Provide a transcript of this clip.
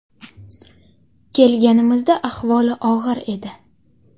Kelganimizda ahvoli og‘ir edi.